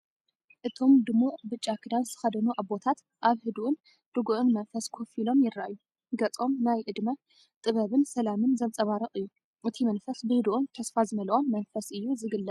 እቶም ድሙቕ ብጫ ክዳን ዝተኸድኑ ኣቦታት፡ ኣብ ህዱእን ርጉእን መንፈስ ኮፍ ኢሎም ይረኣዩ። ገጾም ናይ ዕድመ ጥበብን ሰላምን ዘንጸባርቕ እዩ። እቲ መንፈስ ብህዱእን ተስፋ ዝመልኦን መንፈስ እዩ ዝግለጽ።